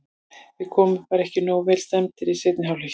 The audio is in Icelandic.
Við komum bara ekki nógu vel stemmdir í seinni hálfleikinn.